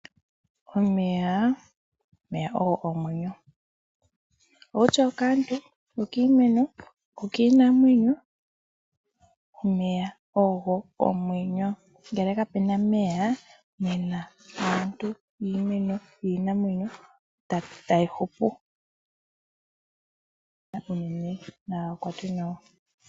Omeyaa omeya ogo omwenyo owutya okaantu, okiimeno, okiinamwenyo, omeya ogo omwenyo. Ngele kapena meyaa nena aantu, iimeno, iinamwenyo itayi hupu kaapuna meya nagakwatwe nawa.